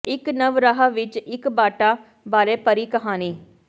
ਇੱਕ ਨਵ ਰਾਹ ਵਿੱਚ ਇੱਕ ਬਾਟਾ ਬਾਰੇ ਪਰੀ ਕਹਾਣੀ